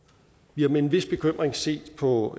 vi har med en vis bekymring set på